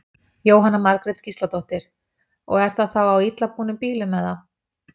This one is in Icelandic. Jóhanna Margrét Gísladóttir: Og er það þá á illa búnum bílum eða?